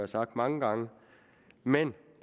sagt mange gange men